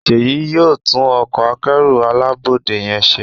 Seyi yóò tún Ọkọ̀ akẹ́rù alábọ́dé yén ṣe